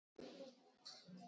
Af hverju reiddist hann svona?